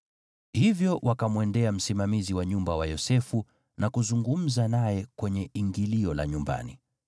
Hivyo wakamwendea msimamizi wa nyumba wa Yosefu na kuzungumza naye kwenye ingilio la nyumbani.